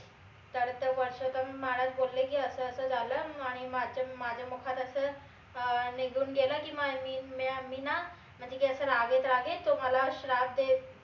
तर परषोत्तम महाराज बोलले की अस अस झालं आणि अं माझं माझं मुखात असं अह निघून गेलं की मी ना म्हनजे की असं रागेत रागेत तुम्हाला श्राप